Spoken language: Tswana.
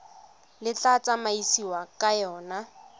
le tla tsamaisiwang ka yona